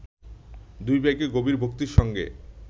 দুই ভাইকে গভীর ভক্তির সঙ্গে